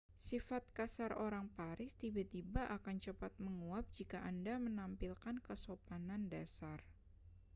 sifat kasar orang paris tiba-tiba akan cepat menguap jika anda menampilkan kesopanan dasar